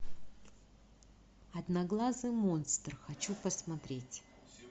одноглазый монстр хочу посмотреть